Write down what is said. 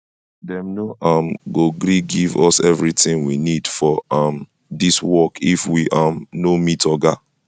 dem no um go gree give us everything we need for um dis work if we um no meet oga